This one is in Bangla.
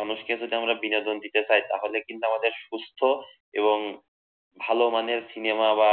মানুষকে যদি আমরা বিনোদন দিতে চাই তাহলে কিন্তু আমাদের সুস্থ এবং ভালো মানের সিনেমা বা